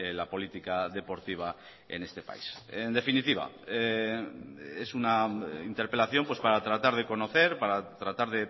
la política deportiva en este país en definitiva es una interpelación para tratar de conocer para tratar